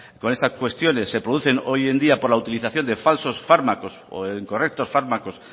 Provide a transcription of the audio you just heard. con estas cuestiones se producen hoy en día por la utilización de falsos fármacos o incorrectos fármacos